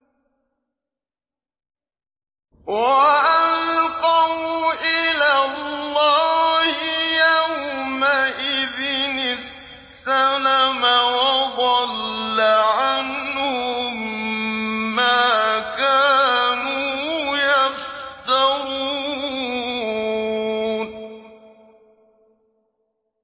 وَأَلْقَوْا إِلَى اللَّهِ يَوْمَئِذٍ السَّلَمَ ۖ وَضَلَّ عَنْهُم مَّا كَانُوا يَفْتَرُونَ